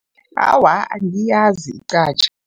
Awa, angiyazi iqhatjha.